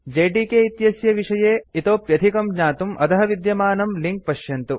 JDK इत्यस्य विषये इतोऽप्यधिकं ज्ञातुम् अधः विद्यमानं लिंक पश्यन्तु